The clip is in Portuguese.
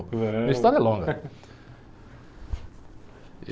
a minha história é longa.